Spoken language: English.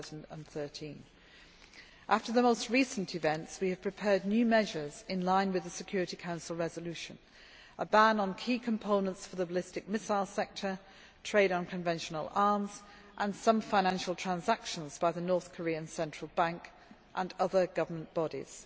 2013. After the most recent events, we have prepared new measures in line with the Security Council Resolution a ban on key components for the ballistic missile sector, trade in conventional arms and some financial transactions by the North Korean Central Bank and other government bodies.